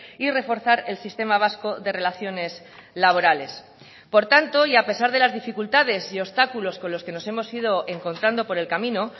y reforzar el sistema vasco de relaciones laborales por tanto y a pesar de las dificultades y obstáculos con los que nos hemos ido encontrando por el camino